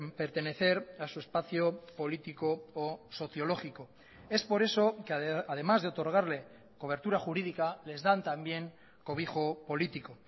pertenecer a su espacio político o sociológico es por eso que además de otorgarle cobertura jurídica les dan también cobijo político